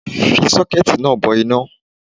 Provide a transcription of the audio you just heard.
Fi sókẹ́ẹ̀tì náà bo iná